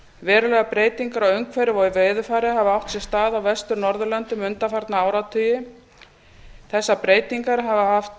verulegar breytingar á umhverfi og veðurfari hafa átt sér stað á vestur norðurlöndum undanfarna áratugi þessar breytingar hafa haft